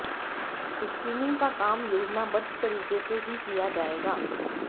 screening का काम योजनाबद्ध तरीके से ही किया जाएगा